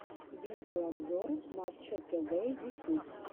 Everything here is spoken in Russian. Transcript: видеообзор матча тв ютюб